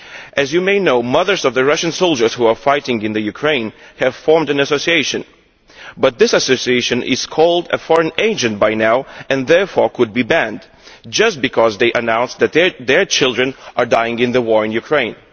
As you may know, mothers of the Russian soldiers who are fighting in Ukraine have formed an association, but this association has now been called a foreign agent' and therefore could be banned, just because they announced that their children are dying in the war in Ukraine.